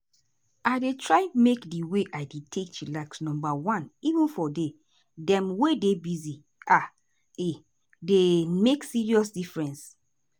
i dey try make di way i take dey chillax numba one even for day dem wey dey busy — e um dey make serious difference.